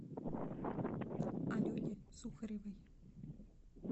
алене сухаревой